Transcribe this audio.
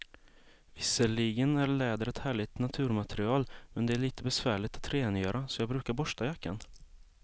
Visserligen är läder ett härligt naturmaterial, men det är lite besvärligt att rengöra, så jag brukar borsta jackan.